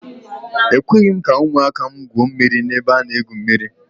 Ekweghị m ka ụmụaka m gwuo mmiri n'ebe a na-egwu mmiri.